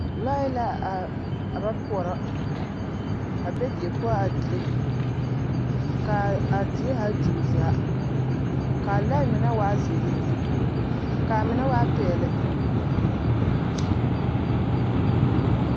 Lɔɛ la a a ba poɔrɔ a be die poɔ a dire ka a die zaa di o zaa ka a lɔɛ mine waa zeere ka a mine waa peɛlle.